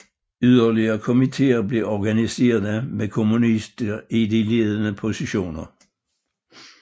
Yderligere komitéer blev organiserede med kommunister i de ledende positioner